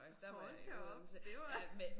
Hold da op det var